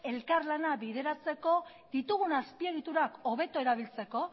elkarlana bideratzeko ditugun azpiegiturak hobeto erabiltzeko